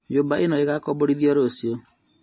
Nyũmba ĩno ĩgakomborithio rũciũ